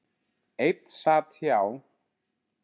Einn sat hjá.